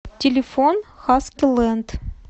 телефон хаскилэнд